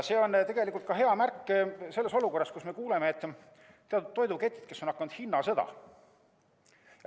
See on tegelikult hea märk selles olukorras, kus me kuuleme, et teatud toidupoekettides on alanud hinnasõda.